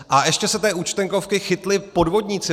A ještě se té Účtenkovky chytli podvodníci.